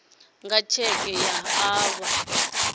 nga tsheke vha o vha